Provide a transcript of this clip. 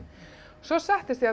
svo settist ég